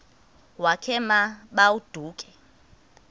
wakhe ma baoduke